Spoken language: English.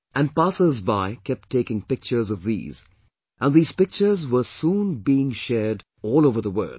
And passersby kept taking pictures of these, and these pictures soon were being shared all over the world